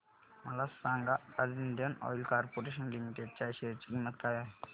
मला सांगा आज इंडियन ऑइल कॉर्पोरेशन लिमिटेड च्या शेअर ची किंमत काय आहे